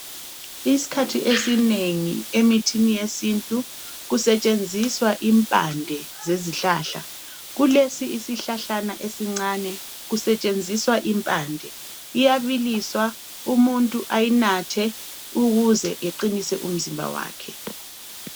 Isikhathi esinengi emithini yesintu kusetshenziswa impande zezihlahla. Kulesi isihlahlana esincane kusetshenziswa impande iyabiliswa umuntu ayinathe ukuze eqinise umzimba wakhe.